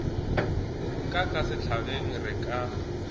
ka ka sehlageng re ka